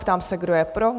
Ptám se, kdo je pro?